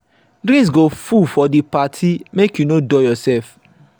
drinks go full for di party make you no dull yoursef.